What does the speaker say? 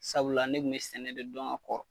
Sabula ne kun be sɛnɛ de dɔn ka kɔrɔ